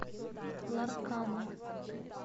ларкана